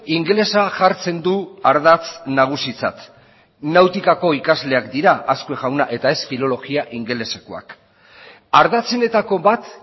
ingelesa jartzen du ardatz nagusitzat nautikako ikasleak dira azkue jauna eta ez filologia ingelesekoak ardatzenetako bat